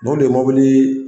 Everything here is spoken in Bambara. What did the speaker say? N'olu ye mɔbili.